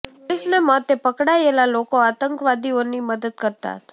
પોલીસને મતે પકડાયેલા લોકો આતંકવાદીઓની મદદ કરતા હતા